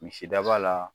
Misidaba la